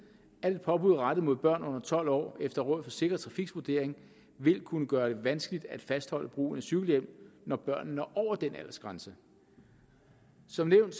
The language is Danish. at et påbud rettet mod børn under tolv år efter rådet for sikker trafiks vurdering vil kunne gøre det vanskeligt at fastholde brugen af cykelhjelm når børnene når over den aldersgrænse som nævnt